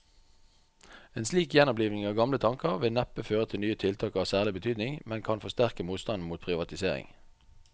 En slik gjenoppliving av gamle tanker vil neppe føre til nye tiltak av særlig betydning, men kan forsterke motstanden mot privatisering.